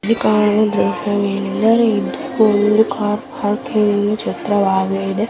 ಇಲ್ಲಿ ಕಾಣುವ ದೃಶ್ಯ ವೇನೆಂದರೆ ಇದು ಕಾರ್ ಪಾರ್ಕಿಂಗ್ ನ ದೃಶ್ಯ ವಾಗಿದೆ .